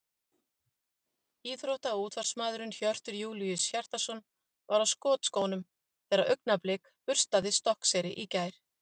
Íþrótta- og útvarpsmaðurinn Hjörtur Júlíus Hjartarson var á skotskónum þegar Augnablik burstaði Stokkseyri í gær.